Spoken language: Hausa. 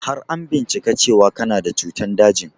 Har an bincika cewan kana da cutan dajin?